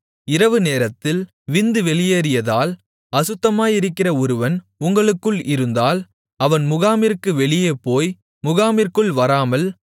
இரவு நேரத்தில் விந்து வெளியேறியதால் அசுத்தமாயிருக்கிற ஒருவன் உங்களுக்குள் இருந்தால் அவன் முகாமிற்கு வெளியே போய் முகாமிற்குள் வராமல்